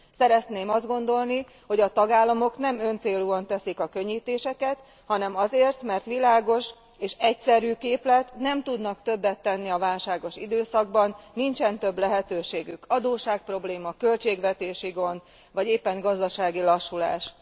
Szeretném azt gondolni, hogy a tagállamok nem öncélúan teszik a könnyítéseket, hanem azért, mert világos és egyszerű képlet, nem tudnak többet tenni a válságos időszakban, nincsen több lehetőségük adósságprobléma, költségvetési gond vagy éppen gazdasági lassulás.